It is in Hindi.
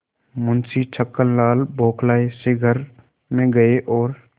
मुंशी छक्कनलाल बौखलाये से घर में गये और